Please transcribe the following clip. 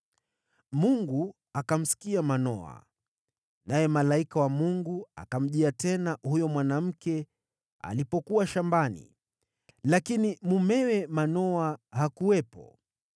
Mungu akamsikia Manoa, naye malaika wa Mungu akamjia tena huyo mwanamke alipokuwa shambani, lakini mumewe Manoa hakuwepo.